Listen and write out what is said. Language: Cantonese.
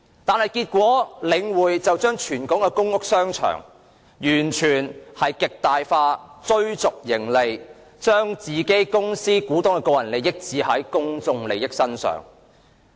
然而，結果是領匯透過全港公屋商場全面且極大化地追逐盈利，將公司股東的利益置於公眾利益之上。